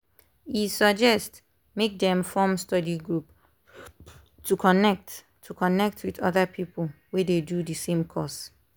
e suggest make dem form study group to connect to connect with other people wey dey do the same course.